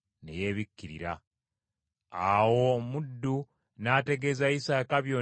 Awo omuddu n’ategeeza Isaaka byonna nga bwe byagenda.